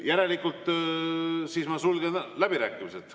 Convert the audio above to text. Järelikult ma sulgen läbirääkimised.